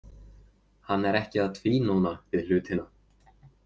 Hann er ekki að tvínóna við hlutina.